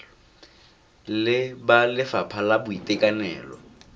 le ba lefapha la boitekanelo